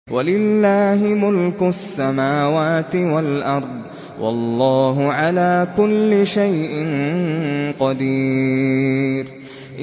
وَلِلَّهِ مُلْكُ السَّمَاوَاتِ وَالْأَرْضِ ۗ وَاللَّهُ عَلَىٰ كُلِّ شَيْءٍ قَدِيرٌ